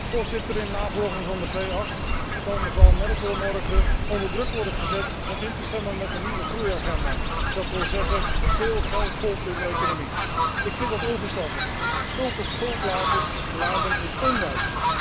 Voorzitter, in navolging van de G8 zal mevrouw Merkel morgen onder druk worden gezet om in te stemmen met de nieuwe groei agenda, dat wil zeggen, veel geld pompen in de economie. Ik vind dat onverstandig. Schuld op schuld laden is onwijs.